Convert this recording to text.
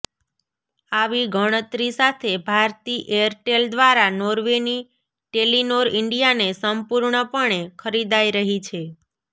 આવી ગણતરી સાથે ભારતી એરટેલ દ્વારા નોર્વેની ટેલિનોર ઇન્ડિયાને સંપૂર્ણપણે ખરીદાઈ રહી છે